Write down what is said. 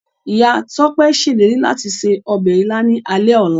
Ìyá Tọ́pẹ́ ṣèlérí láti se ọbẹ̀ Ìlá ní alẹ́ ọla.